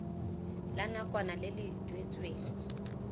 la nakwana le le duetsweng